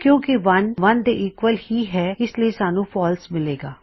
ਕਿੳਂ ਕਿ 1 1 ਦੇ ਈਕਵਲ ਹੀ ਹੈ ਇਸ ਲਈ ਸਾਨੂੰ ਫਾਲਸ ਮਿਲੇਗਾ